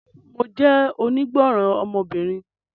Mo jẹ́ onígbọ́ràn ọmọbìnrin